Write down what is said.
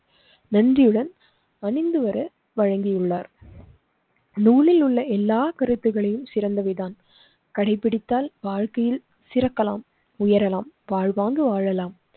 நந்தியுடன் அணிந்து வர வழங்கியுள்ளார். நூலிலுள்ள எல்லா கருத்துகளையும் சிறந்தவைதான். கடைபிடித்தால் வாழ்க்கையில் சிறக்கலாம். உயரலாம், வாழ்வாங்கு வாழலாம்.